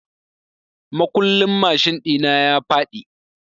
Makullin mashin ɗi na ya faɗi.